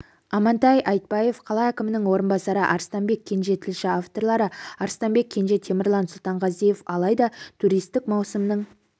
амантай айтбаев қала әкімінің орынбасары арыстанбек кенже тілші авторлары арыстанбек кенже темірлан сұлтанғазиев алайда туристік маусымның